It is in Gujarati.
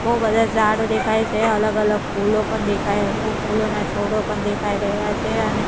બો બધા ઝાડો દેખાય છે અલગ અલગ ફૂલો પણ દેખાય ફૂલોના છોડો પણ દેખાઈ રહ્યા છે અને--